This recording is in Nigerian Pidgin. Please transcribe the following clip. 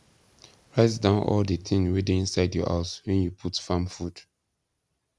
write down all the thing wey dey inside your house wen you put farm food